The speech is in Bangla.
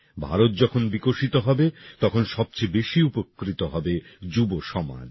ভারত যখন বিকশিত হবে তখন সবচেয়ে বেশি উপকৃত হবে যুবসমাজ